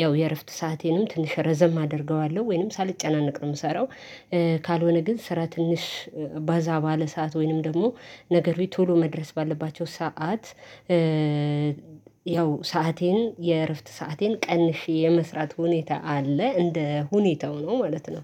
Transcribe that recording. ያው የእረፍት ሰአቴንም ትንሽ ረዘም አደርገዋለሁ ወይንም ሳልጨናነቅ ነው የምሰራው። ካልሆነ ግን ስራ ትንሽ ባዛ ባለ ሰዓት ወይንም ደግሞ ነገሩ ቶሎ መድረስ ባለባቸው ሰዓት። ያው ሰአቴን የእረፍት ሰአቴን ቀንሼ የመስራት ሁኔታ አለ እንደ ሁኔታው ነው ማለት ነው